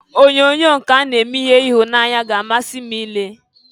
Onyoonyo nke a na-eme ihe ịhụnanya ga-amasị m i lee.